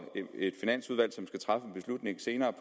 et finansudvalg som skal træffe en beslutning senere